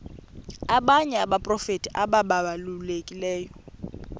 abanye abaprofeti ababalulekileyo